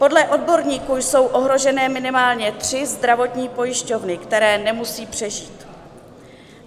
Podle odborníků jsou ohrožené minimálně tři zdravotní pojišťovny, které nemusejí přežít.